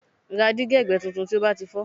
Ra dígí ẹ̀gbẹ́ tuntun tí ó bá ti fọ́